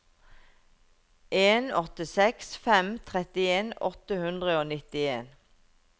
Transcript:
en åtte seks fem trettien åtte hundre og nittien